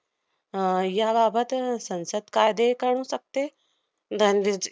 आह याबाबत संसद कायदे करू शकते.